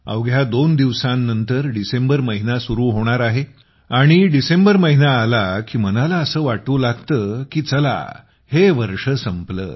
अवघ्या दोन दिवसानंतर डिसेंबर महिना सुरू होणार आहे आणि डिसेंबर महिना आला की मनाला असे वाटू लागते की चला हे वर्ष संपले